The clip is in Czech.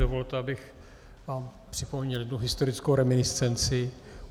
Dovolte, abych vám připomněl jednu historickou reminiscenci.